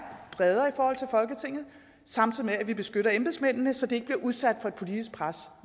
bredere i forhold til folketinget samtidig med at vi beskytter embedsmændene så de ikke bliver udsat for et politisk pres